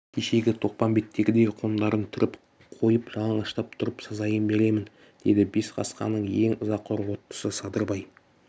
кешегі тоқпамбеттегідей қондарын түріп қойып жалаңаштап тұрып сазайын беремін деді бес қасқаның ең ызақор оттысы садырбай